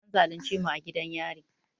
An zalunce mu a gidan yari